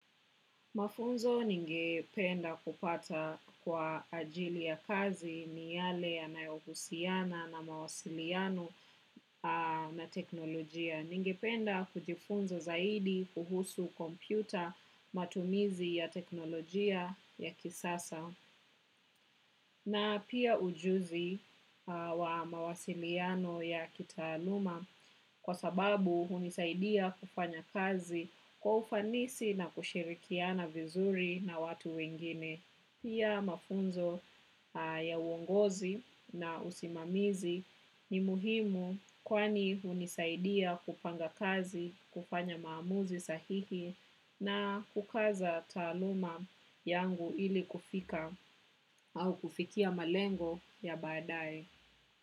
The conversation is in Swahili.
Mafunzo ningependa kupata kwa ajili ya kazi ni yale ya nayohusiana na mawasiliano na teknolojia. Ningependa kujifunza zaidi kuhusu kompyuta matumizi ya teknolojia ya kisasa na pia ujuzi wa mawasiliano ya kita aluma. Kwa sababu unisaidia kufanya kazi kwaufanisi na kushirikia na vizuri na watu wengine. Pia mafunzo ya uongozi na usimamizi ni muhimu kwani unisaidia kupanga kazi, kufanya maamuzi sahihi na kukaza taluma yangu ili kufika au kufikia malengo ya badae.